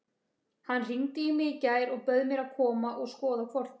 Hann hringdi í mig í gær og bauð mér að koma og skoða hvolpinn.